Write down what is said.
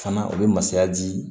Fana u bɛ masaya di